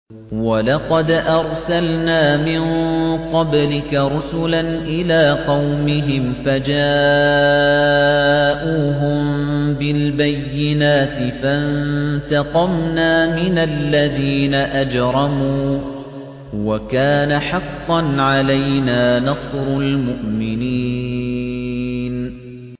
وَلَقَدْ أَرْسَلْنَا مِن قَبْلِكَ رُسُلًا إِلَىٰ قَوْمِهِمْ فَجَاءُوهُم بِالْبَيِّنَاتِ فَانتَقَمْنَا مِنَ الَّذِينَ أَجْرَمُوا ۖ وَكَانَ حَقًّا عَلَيْنَا نَصْرُ الْمُؤْمِنِينَ